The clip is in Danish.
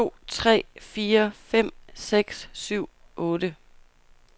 Tester en to tre fire fem seks syv otte.